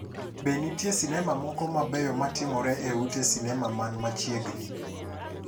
Be nitie sinema moko mabeyo ma timore e ute sinema man machiegni